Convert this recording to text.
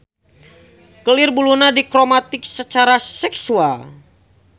Kelir buluna dikromatik sacara seksual.